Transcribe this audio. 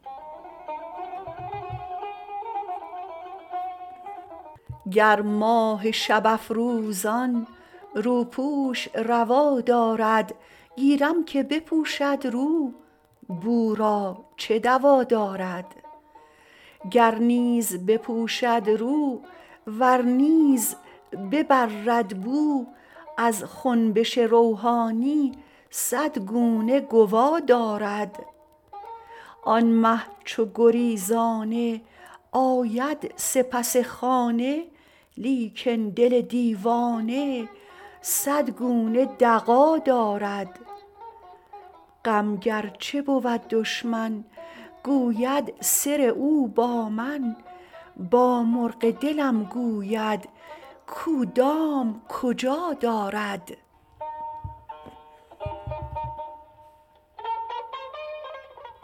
گر ماه شب افروزان روپوش روا دارد گیرم که بپوشد رو بو را چه دوا دارد گر نیز بپوشد رو ور نیز ببرد بو از خنبش روحانی صد گونه گوا دارد آن مه چو گریزانه آید سپس خانه لیکن دل دیوانه صد گونه دغا دارد غم گرچه بود دشمن گو بد سر او با من با مرغ دلم گوید کو دام کجا دارد